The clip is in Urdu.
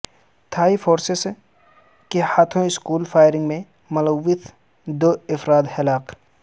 تھائی فورسیس کے ہاتھوں اسکول فائرنگ میں ملوث دو افراد ہلاک